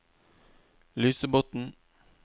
Lysebotn